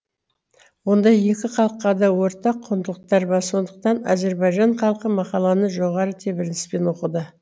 онда екі халыққа да ортақ құндылықтар бар сондықтан әзірбайжан халқы мақаланы жоғары тебіреніспен оқыды